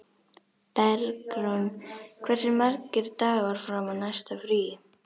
Bergrún, hversu margir dagar fram að næsta fríi?